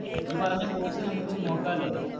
നീ പറഞ്ഞ Course നമുക്കൊന്ന് നോക്ക ലെ